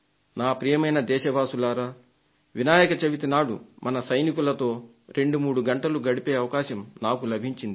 ప్రియమైన నా దేశవాసులారా వినాయక చవితి నాడు మన సైనికులతో రెండు మూడు గంటలు గడిపే అవకాశం నాకు లభించింది